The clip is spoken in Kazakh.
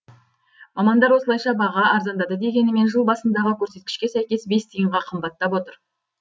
мамандар осылайша баға арзандады дегенімен жыл басындағы көрсеткішке сәйкес бес тиынға қымбаттап отыр